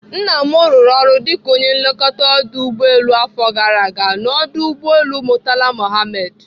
Nna m rụrụ ọrụ dịka onye nlekọta ọdụ ụgbọelu afọ gara ga n'ọdụ ụgbọelu Murtala Muhammed.